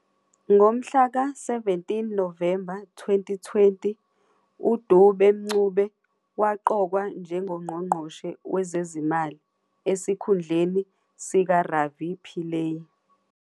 Ngomhlaka 17 Novemba 2020, uDube-Mncube waqokwa njengoNgqongqoshe wezeziMali, esikhundleni sikaRavi Pillay.